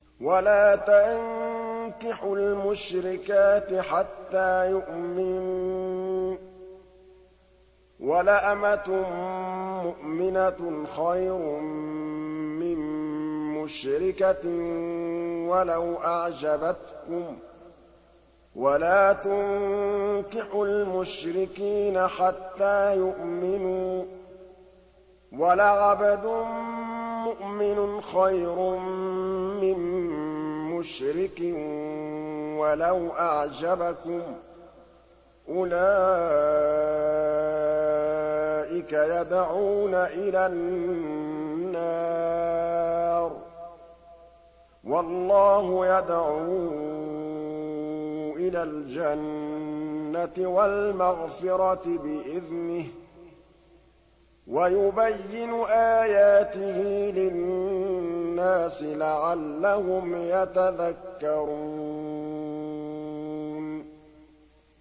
وَلَا تَنكِحُوا الْمُشْرِكَاتِ حَتَّىٰ يُؤْمِنَّ ۚ وَلَأَمَةٌ مُّؤْمِنَةٌ خَيْرٌ مِّن مُّشْرِكَةٍ وَلَوْ أَعْجَبَتْكُمْ ۗ وَلَا تُنكِحُوا الْمُشْرِكِينَ حَتَّىٰ يُؤْمِنُوا ۚ وَلَعَبْدٌ مُّؤْمِنٌ خَيْرٌ مِّن مُّشْرِكٍ وَلَوْ أَعْجَبَكُمْ ۗ أُولَٰئِكَ يَدْعُونَ إِلَى النَّارِ ۖ وَاللَّهُ يَدْعُو إِلَى الْجَنَّةِ وَالْمَغْفِرَةِ بِإِذْنِهِ ۖ وَيُبَيِّنُ آيَاتِهِ لِلنَّاسِ لَعَلَّهُمْ يَتَذَكَّرُونَ